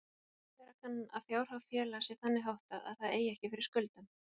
Vera kann að fjárhag félags sé þannig háttað að það eigi ekki fyrir skuldum.